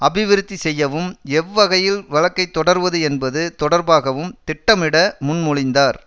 அபிவிருத்திசெய்யவும் எவ்வகையில் வழக்கை தொடர்வது என்பது தொடர்பாகவும் திட்டமிட முன்மொழிந்தார்